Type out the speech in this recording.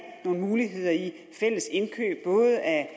nogle muligheder i fællesindkøb både af